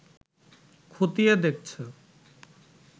খতিয়ে দেখছে